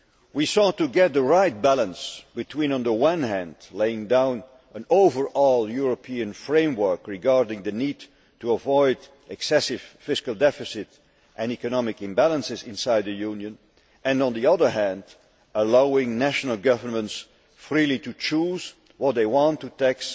We sought to get the right balance between, on the one hand, laying down an overall European framework regarding the need to avoid excessive fiscal deficits and economic imbalances inside the Union and, on the other hand, allowing national governments freely to choose what they want to tax